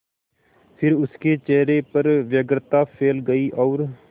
फिर उसके चेहरे पर व्यग्रता फैल गई और